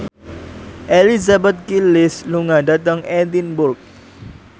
Elizabeth Gillies lunga dhateng Edinburgh